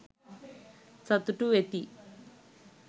සතුටු වෙති.